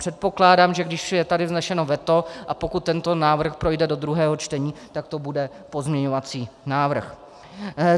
Předpokládám, že když je tady vzneseno veto, a pokud tento návrh projde do druhého čtení, tak to bude pozměňovací návrh.